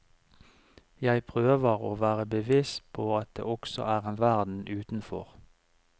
Jeg prøver å være bevisst på at det også er en verden utenfor.